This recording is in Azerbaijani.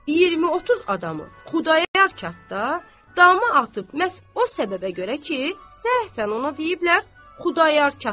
20-30 adamı Xudayar katda damı atıb məhz o səbəbə görə ki, səhfən ona deyiblər Xudayar katda.